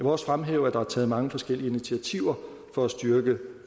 også fremhæve at der er taget mange forskellige initiativer for at styrke